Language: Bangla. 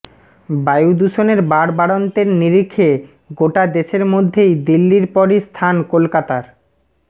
বায়ুদূষণের বাড়বাড়ন্তের নিরিখে গোটা দেশের মধ্যেই দিল্লির পরই স্থান কলকাতার